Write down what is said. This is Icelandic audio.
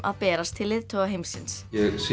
að berast til leiðtoga heimsins